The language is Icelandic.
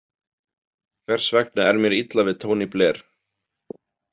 Hvers vegna er mér illa við Tony Blair?